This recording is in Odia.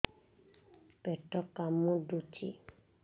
ପେଟ କାମୁଡୁଛି